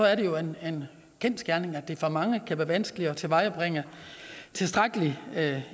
er det jo en kendsgerning at det for mange kan være vanskeligt at tilvejebringe tilstrækkelig